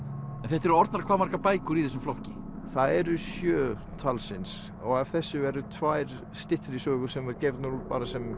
en þetta eru orðnar hvað margar bækur í þessum flokki þær eru sjö talsins og af þessu eru tvær styttri sögur sem voru gefnar út bara sem